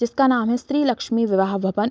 जिसका नाम है स्त्री लक्ष्मी विवहा भवन।